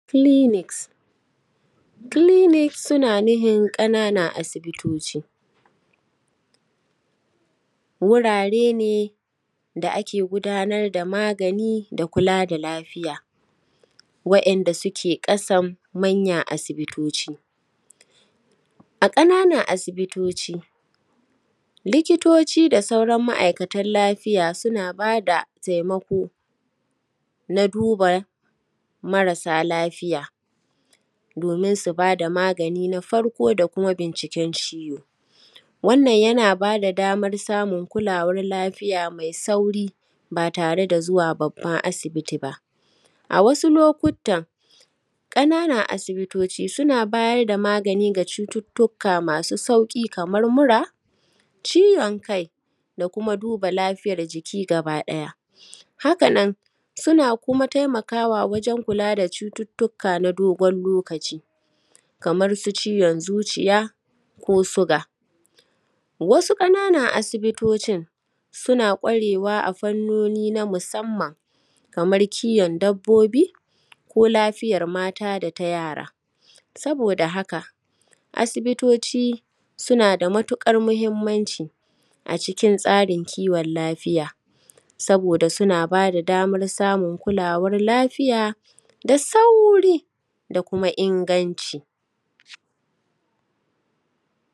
Kiliniks, kiliniks suna nuhin ƙananan asibitoci, wurare ne da ake gudanar da magani da kula da lafiya, wa’inda suke ƙasam manyan asibitoci. A ƙananan asibitoci likitoci da sauran ma’aikatan lafiya suna bada taimako na duba marasa lafiya, domin su bada magani na farko da kuma binciken ciwo, wannan yana bada damar kulawar lafiya mai sauri ba tare da zuwa babban asibiti ba. A wasu lokutan ƙananan asibitoci suna bayar da magani ga cututaka masu sauki kamar mura, ciwon kai, da kuma duba lafiyar jiki gaba ɗaya. Haka nan suna kuma taimakawa wajen kula da cututuka na dogon lokaci, kamar su ciwon zuciya ko suga. Wasu ƙananan asibitocin suna kwarewa a fannoni na musamman kaman kiyon dabbobi ko lafiyar mata data yara, saboda haka asibitoci suna da matukar mahimmanci a cikin tsarin kiwon lafiya, saboda suna bada damar samu kulawar lafiya da sauri da kuma inganci.